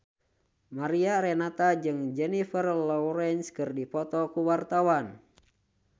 Mariana Renata jeung Jennifer Lawrence keur dipoto ku wartawan